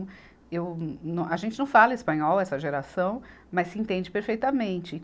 Eu, nó, a gente não fala espanhol, essa geração, mas se entende perfeitamente.